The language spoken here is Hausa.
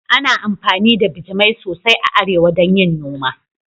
Ana amfani da bijimai sosai a arewa don yin noma